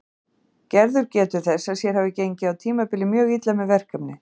Gerður getur þess að sér hafi gengið á tímabili mjög illa með verkefnið.